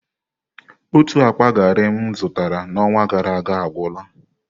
Otu akpa gari m zụtara n'ọnwa gara aga agwụla.